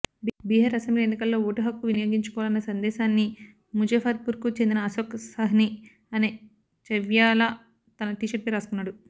Bihar assembly ఎన్నికల్లో ఓటుహక్కు వినియోగించుకోవాలన్న సందేశాన్ని ముజఫర్పూర్కు చెందిన అశోక్ సహ్ని అనే ఛాయ్వాలా తన టీషర్టుపై రాసుకున్నాడు